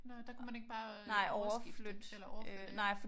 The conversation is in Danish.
Nej der kunne man ikke bare skifte eller overflytte?